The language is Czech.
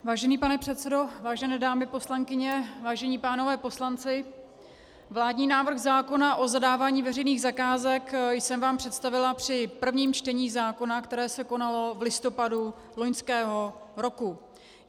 Vážený pane předsedo, vážené dámy poslankyně, vážení pánové poslanci, vládní návrh zákona o zadávání veřejných zakázek jsem vám představila při prvním čtení zákona, které se konalo v listopadu loňského roku.